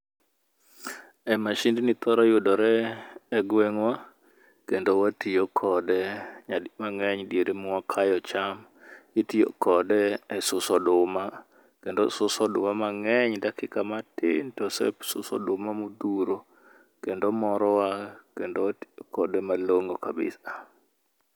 E masindni thoro yudore e gweng'wa kendo watiyo kode nadi mang'eny diere mwakayo cham. Itiyo kode e suso oduma kendo osuso oduma mang'eny dakika matin tosesuso oduma modhuro kendo morowa kendo watiyo kode malong'o kabisa